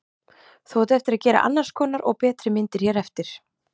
Þú átt eftir að gera annars konar og betri myndir hér eftir.